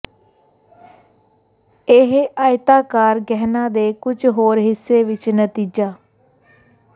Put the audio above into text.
ਇਹ ਆਇਤਾਕਾਰ ਗਹਿਣਾ ਦੇ ਕੁਝ ਹੋਰ ਹਿੱਸੇ ਵਿੱਚ ਨਤੀਜਾ